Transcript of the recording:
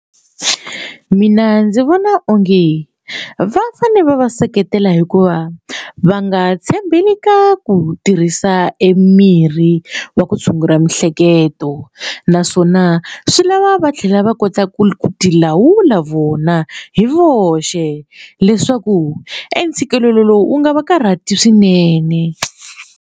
Mina ndzi vona onge va fane va va seketela hikuva va nga tshembeli ka ku tirhisa e mirhi wa ku tshungula miehleketo naswona swi lava va tlhela va kota ku tilawula vona hi voxe leswaku e ntshikelelo lowu wu nga va karhati swinene.